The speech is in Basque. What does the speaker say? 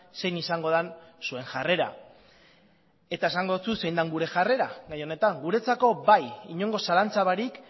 zein izango den zuen jarrera eta esango dotsut zein den gure jarrera gai honetan guretzako bai inongo zalantza barik